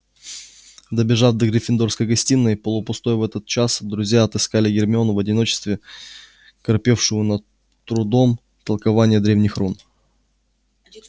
добежав до гриффиндорской гостиной полупустой в этот час друзья отыскали гермиону в одиночестве корпевшую над трудом толкование древних рун